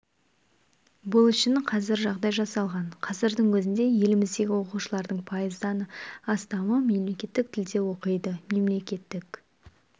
бұл үшін қазір барлық жағдай жасалған қазірдің өзінде еліміздегі оқушылардың пайыздан астамы мемлекеттік тілде оқиды мемлекеттік